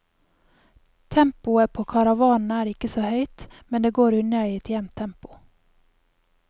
Tempoet på karavanen er ikke så høyt, men det går unna i et jevnt tempo.